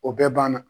O bɛɛ ban na